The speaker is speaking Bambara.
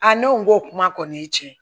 ne ko n ko kuma kɔni ye tiɲɛ ye